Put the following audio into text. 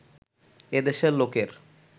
এ দেশের লোকের